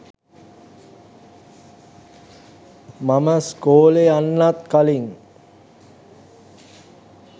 මම ස්කෝලේ යන්නත් කලින්